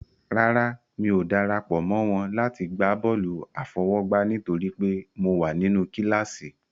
Rárá, mi ò dara pọ̀ mọ́ wọn láti gbá bọ́ọ̀lù àfọwọ́gbá nítorí pé mo wà nínú kíláàsì.